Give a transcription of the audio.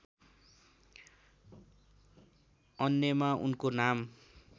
अन्यमा उनको नाम